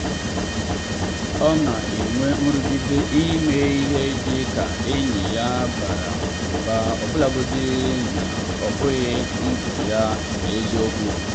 o na-enwe nrụgide ime ihe dị ka enyi ya bara ụba ọbụlagodi na ọ bụghị ndụ ya n’eziokwu.